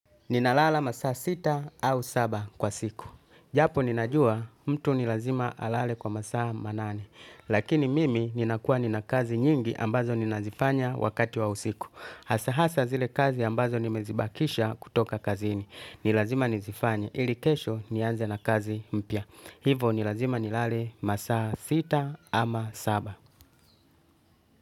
Ninalala masaa sita au saba kwa siku. Japo ninajua mtu ni lazima alale kwa masaa manane. Lakini mimi ninakuwa nina kazi nyingi ambazo nina zifanya wakati wa usiku. Hasa hasa zile kazi ambazo nimezibakisha kutoka kazini. Ni lazima nizifanye ili kesho nianze na kazi mpya. Hivo nilazima nilale masaa sita ama saba.